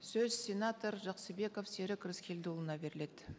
сөз сенатор жақсыбеков серік рыскелдіұлына беріледі